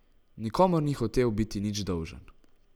Nikomur ni hotel biti nič dolžen.